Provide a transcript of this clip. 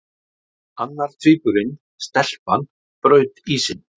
Annar tvíburinn- stelpan- braut ísinn.